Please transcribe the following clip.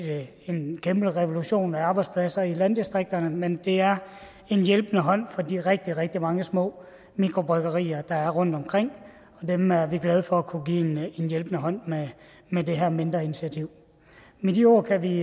en kæmpe revolution i arbejdspladser i landdistrikterne men det er en hjælpende hånd for de rigtig rigtig mange små mikrobryggerier der er rundtomkring dem er vi glade for at kunne give en hjælpende hånd med det her mindre initiativ med de ord kan vi